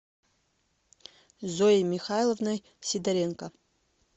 зоей михайловной сидоренко